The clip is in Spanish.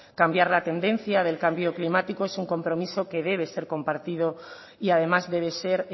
cambiar la tendencia del cambio climático es un compromiso que debe ser compartido y además debe ser